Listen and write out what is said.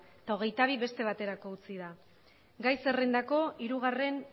eta hogeitabi beste baterako utzi da gai zerrendako hirugarren